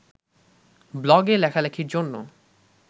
ব্লগে লেখালেখির জন্য